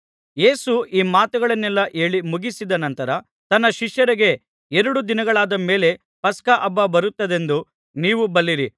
ಯೇಸು ಈ ಮಾತುಗಳನ್ನೆಲ್ಲಾ ಹೇಳಿ ಮುಗಿಸಿದ ನಂತರ ತನ್ನ ಶಿಷ್ಯರಿಗೆ ಎರಡು ದಿನಗಳಾದ ಮೇಲೆ ಪಸ್ಕಹಬ್ಬ ಬರುತ್ತದೆಂದು ನೀವು ಬಲ್ಲಿರಿ